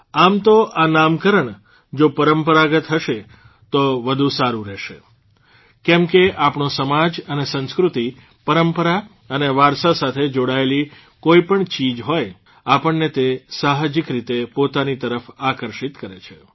આમ તો આ નામકરણ જો પરંપરાગત હશે તો વધુ સારૂં રહેશે કેમ કે આપણો સમાજ અને સંસ્કૃતિ પરંપરા અને વારસા સાથે જોડાયેલી કોઇપણ ચીજ હોય આપણને તે સાહજિક રીતે પોતાની તરફ આકર્ષિત કરે છે